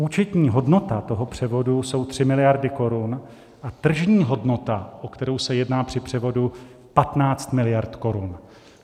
Účetní hodnota toho převodu jsou 3 miliardy korun a tržní hodnota, o kterou se jedná při převodu, 15 miliard korun.